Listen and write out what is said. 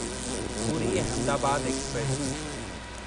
Puri Ahmedabad express